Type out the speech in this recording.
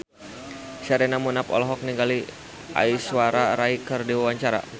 Sherina Munaf olohok ningali Aishwarya Rai keur diwawancara